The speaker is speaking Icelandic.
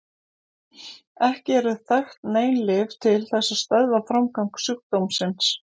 Ekki eru þekkt nein lyf til þess að stöðva framgang sjúkdómsins.